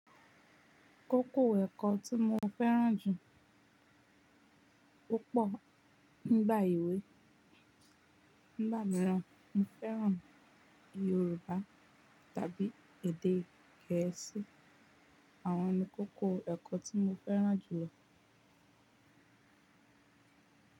Kókó ẹ̀kọ́ tí mo fẹ́ràn jù púpọ̀ nígbà ewe nigba miiran, mo fẹ́ràn Yorùbá tàbí èdè Gẹ̀ẹ́sì. Àwọn ni kókó ẹ̀kọ́ tí mo fẹ́ràn jùlọ.